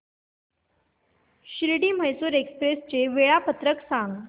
Shirdi Mysore express चे वेळापत्रक सांग